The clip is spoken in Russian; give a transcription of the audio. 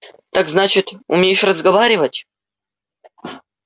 так значит умеешь разговаривать